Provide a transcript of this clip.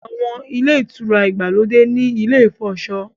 Àwọn Ilé-ìtura ìgbàlódé ní ilè ifọṣọ.